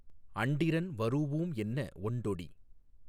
அண்டிரன் வரூஉம் என்ன ஒண்டொடி